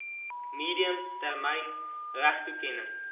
medium termyn regtetoekenning